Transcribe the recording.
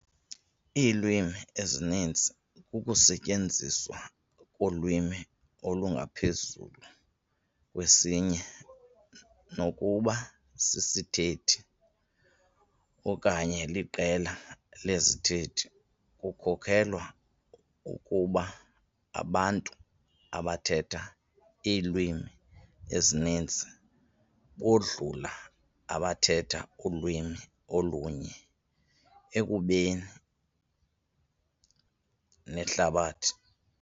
Iilwimi ezininzi kukusetyenziswa kolwimi olungaphezulu kwesinye, nokuba sisithethi okanye liqela lezithethi. Kukholelwa ukuba abantu abathetha iilwimi ezininzi bodlula abathetha ulwimi olunye ekubeni nehlabathi .